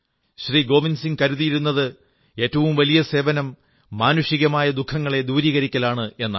ഗോവിന്ദ്സിംഹ് കരുതിയിരുന്നത് ഏറ്റവും വലിയ സേവനം മാനുഷികമായ ദുഃഖങ്ങളെ ദൂരീകരിക്കലാണ് എന്നാണ്